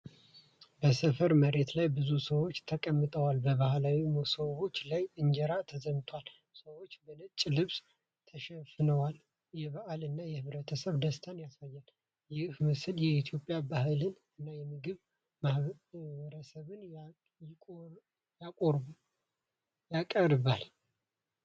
በሰፈር መሬት ላይ ብዙ ሰዎች ተቀምጠው ባህላዊ መሶቦች ላይ እንጀራ ተዘምቷል። ሰዎቹ በነጭ ልብስ ተሸፍነው የበዓል እና የህብረተሰብ ደስታን ያሳያሉ። ይህ ምስል የኢትዮጵያ ባህልን እና የምግብ ማኅበረሰብን ያቀርባል።